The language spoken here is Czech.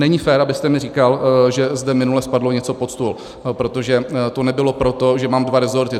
Není fér, abyste mi říkal, že zde minule spadlo něco pod stůl, protože to nebylo proto, že mám dva resorty.